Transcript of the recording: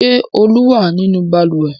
Ṣé Olú wà nínú balùwẹ̀?